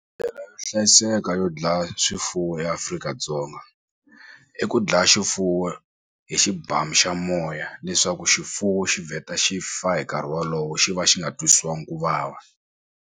yo hlayiseka yo dlaya swifuwo eAfrika-Dzonga i ku dlaya xifuwo hi xibamu xa moya leswaku xifuwo xi vheta xi fa hi nkarhi wolowo xi va xi nga twisiwangi ku vava.